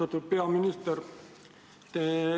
Austatud peaminister!